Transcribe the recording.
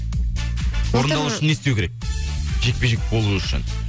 орындалу үшін не істеу керек жекпе жек болу үшін